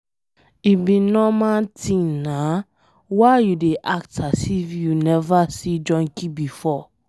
E be normal thing na, why you dey act as if you never see junkie before.